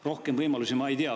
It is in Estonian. Rohkem võimalusi ma ei tea.